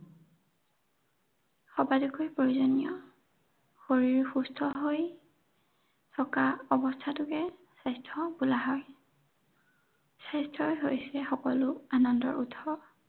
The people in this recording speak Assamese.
সবাতোকৈ প্ৰয়োজনীয়। শৰীৰ সুস্থ হৈ থকা অৱস্থাটোকে স্বাস্থ্য বোলা হয়। স্বাস্থ্যই হৈছে সকলো আনন্দৰ উৎস।